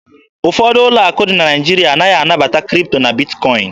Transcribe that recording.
Ụfọdụ ụlọ akụ dị na Naịjirịa anaghị anabata Kripto na Bitkọin.